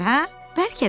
Bəlkə də.